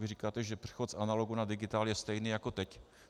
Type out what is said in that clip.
Vy říkáte, že přechod z analogu na digitál je stejný jako teď.